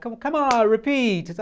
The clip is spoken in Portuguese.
Come on, repeat.